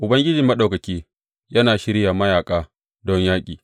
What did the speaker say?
Ubangiji Maɗaukaki yana shirya mayaƙa don yaƙi.